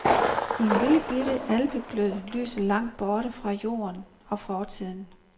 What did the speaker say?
En lillebitte alpeglød lyser langt borte fra jorden og fortiden.